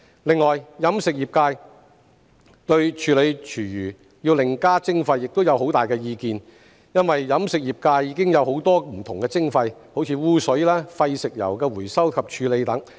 另外，飲食業界對處理廚餘要另加徵費亦有很大意見，因為飲食業界已有很多不同的徵費，如污水、廢食油的回收及處理等。